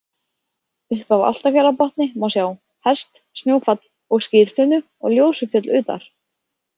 Upp af Álftafjarðarbotni má sjá: Hest, Snjófjall og Skyrtunnu og Ljósufjöll utar.